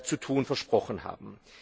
zu tun versprochen haben.